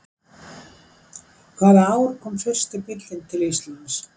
Hvaða ár kom fyrsti bíllinn til Íslands?